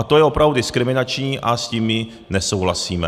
A to je opravdu diskriminační a s tím my nesouhlasíme.